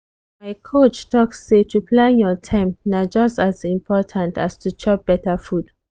my coach talk say to plan your time na just as important as to chop better food.